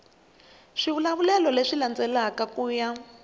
swivulavulelo leswi landzelaka ku ya